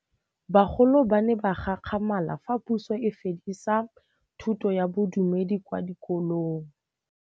Bagolo ba ne ba gakgamala fa Pusô e fedisa thutô ya Bodumedi kwa dikolong.